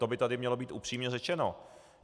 To by tu mělo být upřímně řečeno.